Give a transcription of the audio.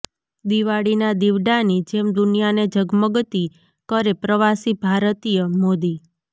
દિવાળીના દિવડાની જેમ દુનિયાને ઝગમગતી કરે પ્રવાસી ભારતીયઃ મોદી